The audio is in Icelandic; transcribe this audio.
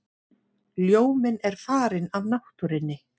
Ljóminn er farinn af náttúrunni.